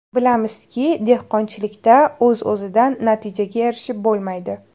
Bilamizki, dehqonchilikda o‘z-o‘zidan natijaga erishib bo‘lmaydi.